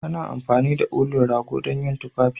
Ana amfani da ulun rago dan yin tufafi.